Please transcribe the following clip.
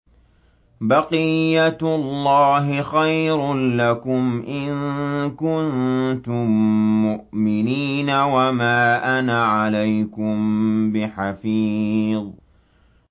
بَقِيَّتُ اللَّهِ خَيْرٌ لَّكُمْ إِن كُنتُم مُّؤْمِنِينَ ۚ وَمَا أَنَا عَلَيْكُم بِحَفِيظٍ